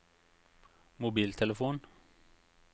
mobiltelefon